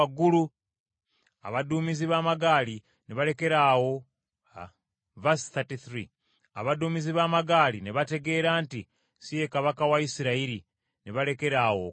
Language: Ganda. abaduumizi b’amagaali ne bategeera nti si ye kabaka wa Isirayiri ne balekeraawo okumugoba.